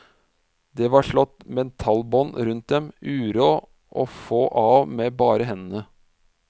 Det var slått metallbånd rundt dem, uråd å få av med bare hendene.